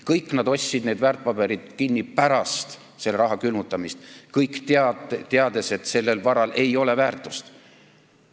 Kõik nad ostsid need väärtpaberid pärast selle raha külmutamist, kõik teades, et sellel varal ei ole väärtust.